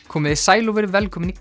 komiði sæl og verið velkomin í